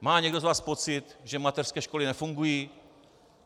Má někdo z vás pocit, že mateřské školy nefungují?